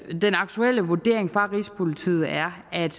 den aktuelle vurdering fra rigspolitiet er at